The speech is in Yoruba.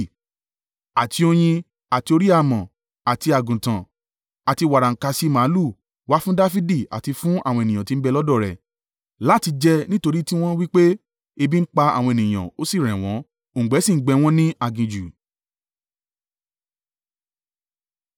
Àti oyin, àti òrí-àmọ́, àti àgùntàn, àti wàràǹkàṣì màlúù, wá fún Dafidi àti fún àwọn ènìyàn tí ń bẹ lọ́dọ̀ rẹ̀, láti jẹ: nítorí tí wọ́n wí pé, “Ebi ń pa àwọn ènìyàn, ó sì rẹ̀ wọ́n, òǹgbẹ sì ń gbẹ wọ́n ní aginjù.”